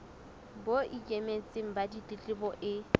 bo ikemetseng ba ditletlebo e